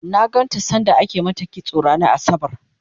na ganta sanda ake mata kitso ranar asabar